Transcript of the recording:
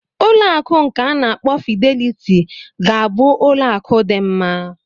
Ụlọ akụ nke a na-akpọ Fidelity ga-abụ ụlọ akụ dị mma.